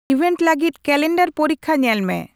event ᱞᱟᱹᱜᱤᱫ calendar ᱯᱚᱨᱤᱠᱷᱟ ᱧᱮᱞ ᱢᱮ